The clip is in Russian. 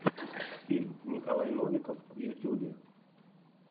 фильм николай новиков в ютюбе